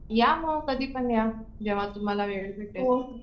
या मग कधीपण या जेंव्हा तुम्हाला वेळ भेटेल.